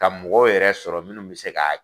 Ka mɔgɔw yɛrɛ sɔrɔ minnu bɛ se ka